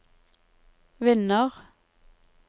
vinner